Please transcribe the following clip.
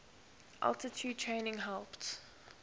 altitude training helped